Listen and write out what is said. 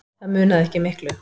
Það munaði ekki miklu.